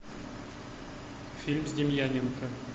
фильм с демьяненко